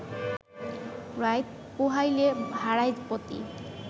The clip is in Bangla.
রাইত পুহাইলে হারায় পতি